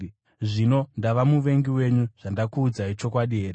Zvino ndava muvengi wenyu zvandakuudzai chokwadi here?